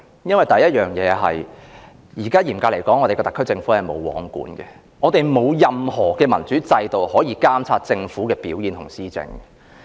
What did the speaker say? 因為，第一，特區政府嚴格來說是"無皇管"的，我們沒有任何民主制度可以監察政府的表現和施政。